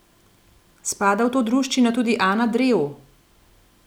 Spada v to druščino tudi Ana Drev?